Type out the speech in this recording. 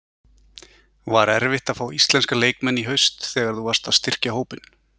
Var erfitt að fá íslenska leikmenn í haust þegar þú varst að styrkja hópinn?